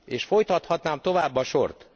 És folytathatnám tovább a sort.